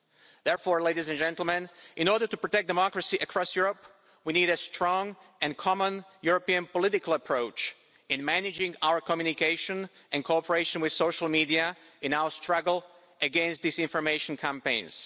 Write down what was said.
Therefore, in order to protect democracy across Europe, we need a strong and common European political approach in managing our communication and cooperation with social media in our struggle against disinformation campaigns.